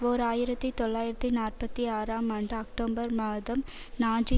ஓர் ஆயிரத்தி தொள்ளாயிரத்தி நாற்பத்தி ஆறாம் ஆண்டு அக்டோபர் மாதம் நாஜி